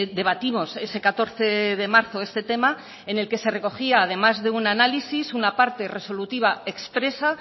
debatimos ese catorce de marzo este tema en el que se recogía además de un análisis una parte resolutiva expresa